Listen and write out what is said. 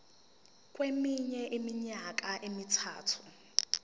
kweminye iminyaka emithathu